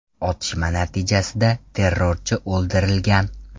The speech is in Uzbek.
Otishma natijasida terrorchi o‘ldirilgan.